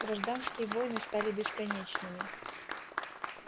гражданские войны стали бесконечными